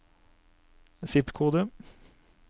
zip-kode